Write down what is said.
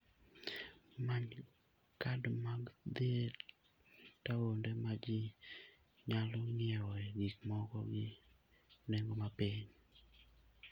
Many kad mag dhi e taonde ma ji nyalo ng'iewoe gik moko gi nengo mapiny.